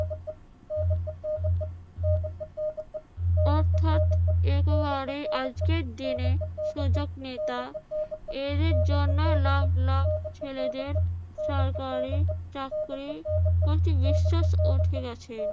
অর্থাৎ একেবারে আজকের দিনে সুযোগ নেতা। এদের জন্য লাখ লাখ ছেলেদের সরকারি চাকরির প্রতি বিশ্বাস উঠে গেছে।